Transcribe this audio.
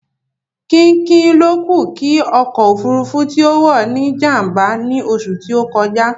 Kínkín lókù kí ọkọ̀ òfúrufú tí ó wọ̀ ní jàm̀bà ní oṣù tí ó kọjá